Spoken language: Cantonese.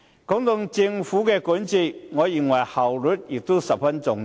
談到政府管治，我認為效率十分重要。